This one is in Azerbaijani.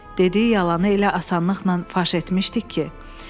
Dediyi yalanı elə asanlıqla faş etmişdik ki.